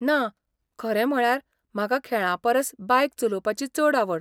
ना, खरें म्हळ्यार म्हाका खेळां परस बायक चलोवपाची चड आवड.